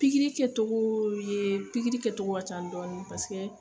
Pikiri kɛtogoo ye pikiri kɛtogo ka can dɔɔnin